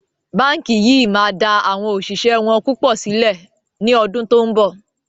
Báńkì yìí máa da awon òṣìṣẹ́ wọn púpọ̀ sílẹ̀ ni ọdún to ń bọ̀.